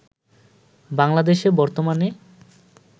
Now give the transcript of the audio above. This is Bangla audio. বাংলাদেশে বর্তমানে